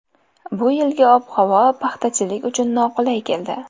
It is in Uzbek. Bu yilgi ob-havo paxtachilik uchun noqulay keldi.